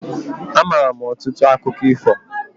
Amaara m ọtụtụ akụkọ ifo.